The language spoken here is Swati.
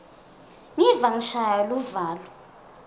ngiva ngishaywa luvalo